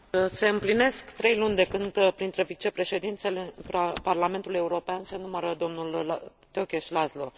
Se împlinesc trei luni de când printre vicepreședinții Parlamentului European se numără domnul Tökes Laszlo.